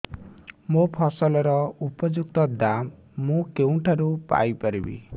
ମୋ ଫସଲର ଉପଯୁକ୍ତ ଦାମ୍ ମୁଁ କେଉଁଠାରୁ ପାଇ ପାରିବି